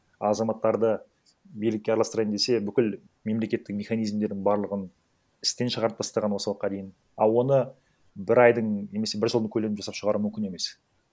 азаматтарды билікке араластырайын десе бүкіл мемлекеттің механизмдерін барлығын істен шығарып тастаған осы уақытқа дейін а оны бір айдың немесе бір жылдың көлемін жасап шығару мүмкін емес